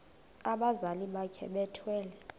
abazali bakhe bethwele